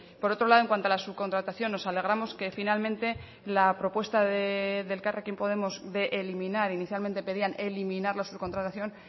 por otro lado en cuanto a la subcontratación nos alegramos que finalmente la propuesta de elkarrekin podemos de eliminar inicialmente pedían eliminar la subcontratación